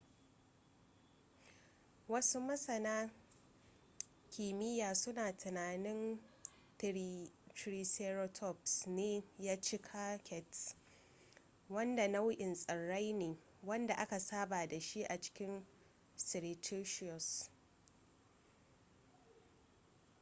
wasu masana kimiyya suna tunanin triceratops ne ya ci cycads wanda nau'in tsirrai ne wanda aka saba da shi a cikin cretaceous